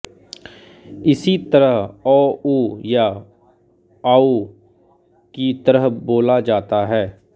इसी तरह औ अउ या आउ की तरह बोला जाता है